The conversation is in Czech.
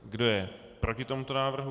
Kdo je proti tomuto návrhu?